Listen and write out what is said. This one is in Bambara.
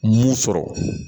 Mun sɔrɔ